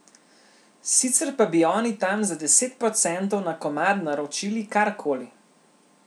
Sicer pa bi oni tam za deset procentov na komad naročili karkoli.